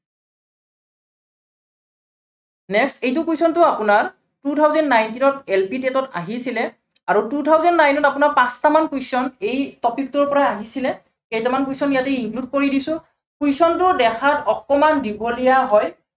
next এইটো question টো আপোনাৰ two thousand ninteen ত LPTET ত আহিছিলে, আৰু two thousand nine ত আপোনাৰ পাঁচটামান question এই topic টোৰ পৰাই আহিছিলে। কেইটামান question ইয়াতে include কৰি দিছো, question টো দেখাত অকনমান দীঘলীয়া হয়